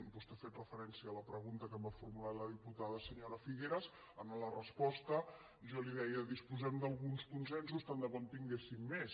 vostè ha fet referència a la pregunta que em va formular la diputada senyora figueras en la resposta jo li deia disposem d’alguns consensos tant de bo en tinguéssim més